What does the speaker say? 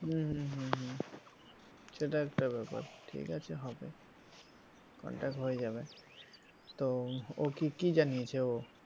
হম হম হম হম সেটা একটা ব্যাপার ঠিক আছে হবে contact হয়ে যাবে তো ও কি কি জানিয়েছে ও?